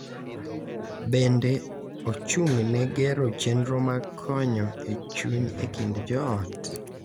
Bende, ochung’ne gero chenro mag konyo e chuny e kind joot.